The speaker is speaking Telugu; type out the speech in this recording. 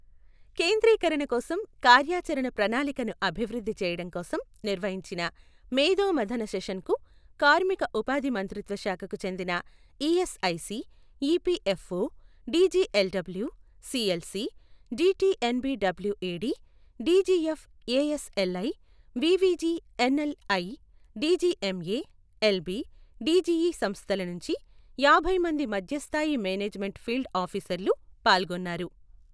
కేంద్రీకరణ కోసం, కార్యాచరణ ప్రణాళికను అభివృద్ధి చేయడం కోసం నిర్వహించిన మేధో మథన సెషన్కు కార్మిక ఉపాధి మంత్రిత్వ శాఖకు చెందిన ESIC, EPFO, DGLW, CLC, DTNBWED, DGFASLI, VVGNLI, DGMS, LB, DGE సంస్థల నుంచి యాభై మంది మధ్యస్థాయి మేనేజ్మెంట్ ఫీల్డ్ ఆఫీసర్లు పాల్గొన్నారు.